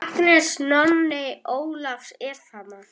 Agnes, Nonni Ólafs er þarna!